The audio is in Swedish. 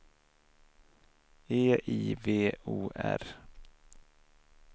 E I V O R